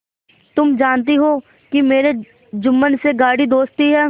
तुम जानती हो कि मेरी जुम्मन से गाढ़ी दोस्ती है